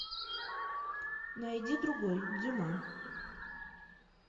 найди другой дюма